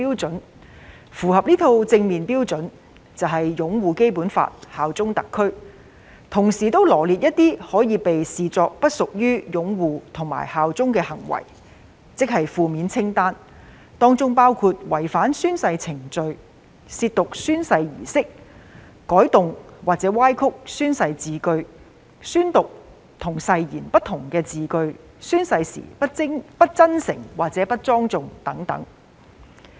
如符合這套正面標準，即屬擁護《基本法》、效忠特區；同時亦羅列出一些可被視為不擁護《基本法》和不效忠特區的行為，即"負面清單"，當中包括違反宣誓程序、褻瀆宣誓儀式、改動或歪曲宣誓字句、宣讀與誓言不同的字句，以及宣誓時不真誠或不莊重等。